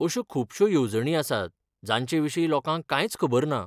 अश्यो खुबश्यो येवजणी आसात जांचेविशीं लोकांक कांयच खबर ना.